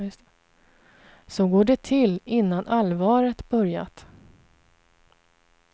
Så går det till innan allvaret börjat.